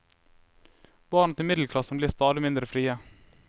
Barna til middelklassen blir stadig mindre frie.